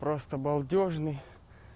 просто балдежный